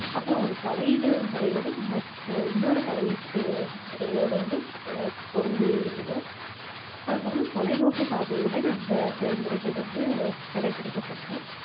அப்புறம் ஒரு தலையீடு முறை வந்து ம~ ஆஹ் இன்னொரு தலையீட்டு முறையோட வந்து ஆஹ் பொருந்தியிருக்கணும் அதுக்கப்புறம் தொலைநோக்குப் பார்வையுடன் அந்த செயல்முறைகள் வந்து கடைபிடிக்கப்படணும்